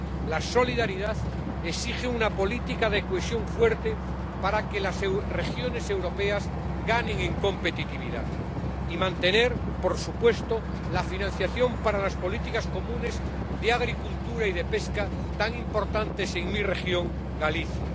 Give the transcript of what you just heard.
La solidaridad exige una política de cohesión fuerte para que las regiones europeas ganen en competitividad y mantener, por supuesto, la financiación para las políticas comunes de agricultura y de pesca, tan importantes en mi región, Galicia.